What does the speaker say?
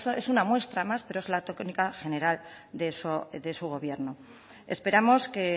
es una muestra más pero es la tónica general de su gobierno esperamos que